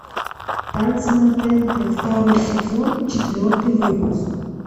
танцы на тнт второй сезон четвертый выпуск